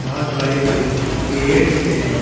बहुत बड़े बड़े पेड़ दिख रहे है।